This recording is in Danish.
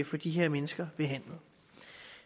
få de her mennesker behandlet